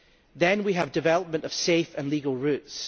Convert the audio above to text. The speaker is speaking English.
Then we have development of safe and legal routes.